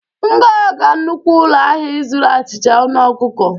M ga-aga nnukwu ụlọ ahịa ịzụrụ achịcha aṅụ ọkụkọ.